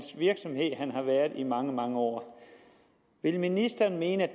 har været i mange mange år vil ministeren mene